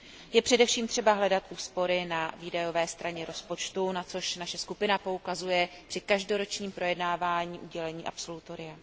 Je především třeba hledat úspory na výdajové straně rozpočtu, na což naše skupina poukazuje při každoročním projednávání udělení absolutoria.